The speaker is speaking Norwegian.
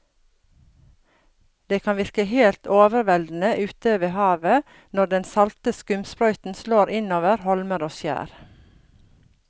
Det kan virke helt overveldende ute ved havet når den salte skumsprøyten slår innover holmer og skjær.